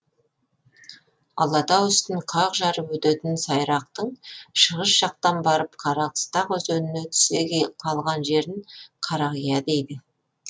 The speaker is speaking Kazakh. алатау үстін қақ жарып өтетін сайрақтың шығыс жақтан барып қарақыстақ өзеніне түсе қалған жерін қарақия дейді